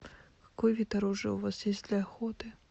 какой вид оружия у вас есть для охоты